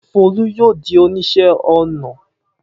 Folú yóò di oníṣẹ́ ọnà!